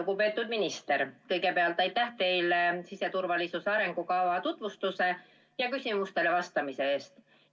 Lugupeetud minister, kõigepealt aitäh teile siseturvalisuse arengukava tutvustuse ja küsimustele vastamise eest!